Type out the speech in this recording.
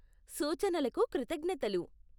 సూచనలకు కృతజ్ఞతలు.